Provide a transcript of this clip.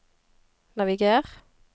naviger